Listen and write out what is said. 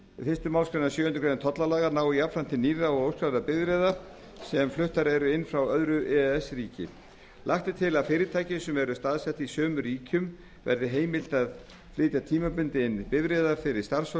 fyrstu málsgrein sjöundu greinar tollalaga nái jafnframt til nýrra og óskráðra bifreiða sem fluttar eru inn frá öðru e e s ríki lagt er til að fyrirtækjum sem eru staðsett í sömu ríkjum verði heimilt að flytja tímabundið inn bifreiðar fyrir starfsfólk